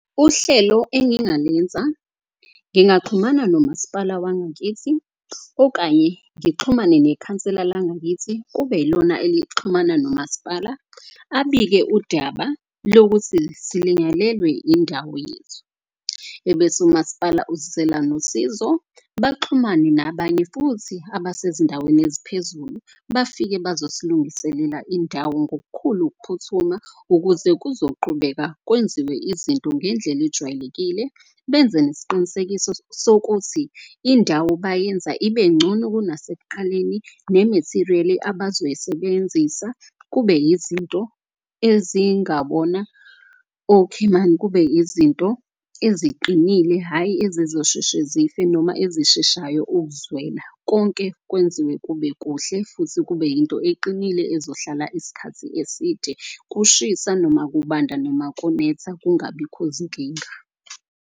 Uhlelo engingalenza ngingaxhumana nomaspala wangakithi okanye ngixhumane nekhansela langakithi. Kube ilona elixhumana nomaspala abike udaba lokuthi silinyalelwe indawo yethu. Ebese umaspala usizela nosizo, baxhumane nabanye futhi abasezindaweni eziphezulu bafike bazosilungisela indawo. Ngokukhulu ukuphuthuma ukuze kuzoqhubeka kwenziwe izinto ngendlela ejwayelekile. Benze nesiqinisekiso sokuthi indawo bayenza ibengcono kunasekuqaleni, ne-material-i abazoyisebenzisa kube yizinto ezingabona okhimani. Kube izinto eziqinile, hhayi ezizosheshe zife noma ezisheshayo ukuzwela konke kwenziwe kube kuhle. Futhi kube yinto eqinile ezohlala isikhathi eside kushisa noma, kubanda, noma ukunetha kungabikho zinkinga.